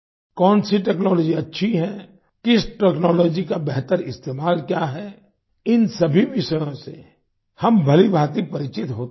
कौनसी टेक्नोलॉजी अच्छी है किस टेक्नोलॉजी का बेहतर इस्तेमाल क्या है इन सभी विषयों से हम भलीभांति परिचित होते ही हैं